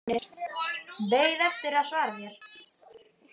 Beið eftir að hann svaraði mér.